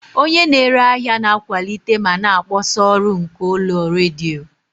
Onye na-ere ahịa na-akwalite ma na-akpọsa ọrụ nke ụlọ redio.